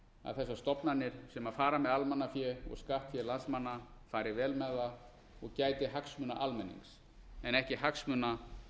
að þessar stofnanir sem fara með almannafé og skattfé landsmanna fari vel með það og gæti hagsmuna almennings en ekki hagsmuna almennings en ekki hagsmuna þeirra